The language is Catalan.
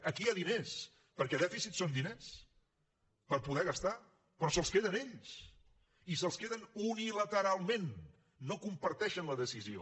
aquí hi ha diners perquè dèficit són diners per poder gastar però se’ls queden ells i se’ls queden unilateralment no comparteixen la decisió